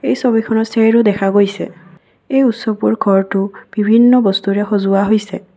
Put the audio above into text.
এই ছবিখনত দেখা গৈছে এই উৎসৱবোৰ ঘৰটো বিভিন্ন বস্তুৰে সজোৱা হৈছে।